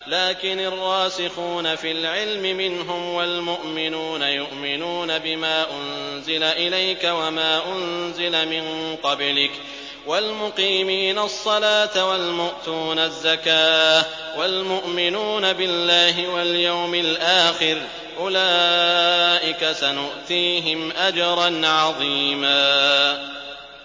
لَّٰكِنِ الرَّاسِخُونَ فِي الْعِلْمِ مِنْهُمْ وَالْمُؤْمِنُونَ يُؤْمِنُونَ بِمَا أُنزِلَ إِلَيْكَ وَمَا أُنزِلَ مِن قَبْلِكَ ۚ وَالْمُقِيمِينَ الصَّلَاةَ ۚ وَالْمُؤْتُونَ الزَّكَاةَ وَالْمُؤْمِنُونَ بِاللَّهِ وَالْيَوْمِ الْآخِرِ أُولَٰئِكَ سَنُؤْتِيهِمْ أَجْرًا عَظِيمًا